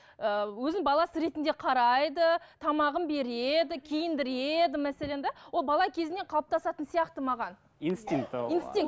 ііі өзінің баласы ретінде қарайды тамағын береді киіндіреді мәселен де ол бала кезінен қалыптасатын сияқты маған инстинкт ы инстинкт